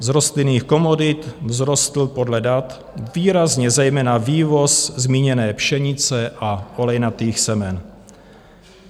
Z rostlinných komodit vzrostl podle dat výrazně zejména vývoz zmíněné pšenice a olejnatých semen.